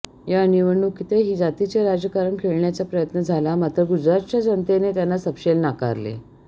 या निवडणुकीतही जातीचे राजकारण खेळण्याचा प्रयत्न झाला मात्र गुजरातच्या जनतेने त्यांना सपशेल नाकारले